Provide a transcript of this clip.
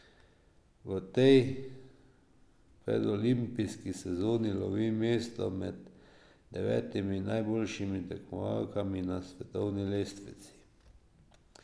V tej predolimpijski sezoni lovi mesto med devetimi najboljšimi tekmovalkami na svetovni lestvici.